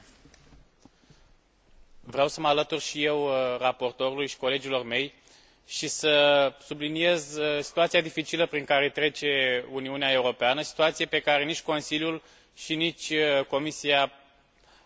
Vreau să mă alătur și eu raportorului și colegilor mei și să subliniez situația dificilă prin care trece Uniunea Europeană, situație pe care nici Consiliul și nici Comisia nu par să o realizeze.